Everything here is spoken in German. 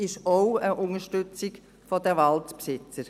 Es ist auch eine Unterstützung der Waldbesitzer.